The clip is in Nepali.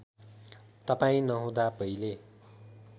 तपाईँ नहुँदा पहिले